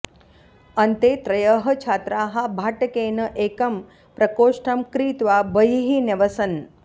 अन्ते त्रयः छात्राः भाटकेन एकं प्रकोष्ठं क्रीत्वा बहिः न्यवसन्